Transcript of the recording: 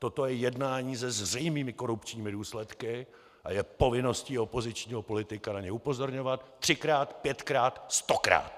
Toto je jednání se zřejmými korupčními důsledky a je povinností opozičního politika na ně upozorňovat třikrát, pětkrát, stokrát!